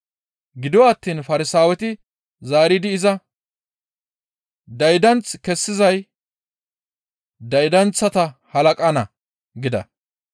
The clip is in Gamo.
Gido attiin Farsaaweti zaaridi iza, «Daydanth kessizay daydanththata halaqanna» gida.